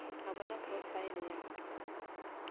a bona profile ya ka